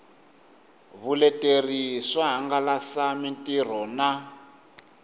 vuleteri swo hangalasa mitirho na